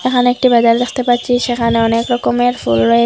এখানে একটি বাজার দেখতে পাচ্ছি সেখানে অনেক রকমের ফুল রয়ে--